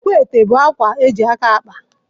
Akwaete bụ akwa eji aka akpa.